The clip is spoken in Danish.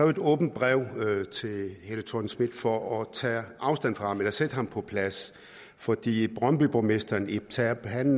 et åbent brev til helle thorning schmidt for at bede tage afstand fra ham eller sætte ham på plads fordi brøndbyborgmesteren ib terp da han